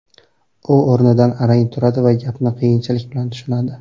U o‘rnidan arang turadi va gapni qiyinchilik bilan tushunadi.